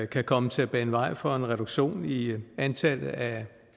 kan komme til at bane vej for en reduktion i antallet af